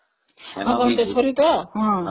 ଘନଟେଶ୍ଵରୀ ତ